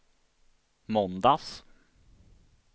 måndags